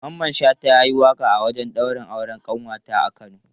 Mamman Shata ya yi waƙa a wajen daurin auren ƙanwata a Kano.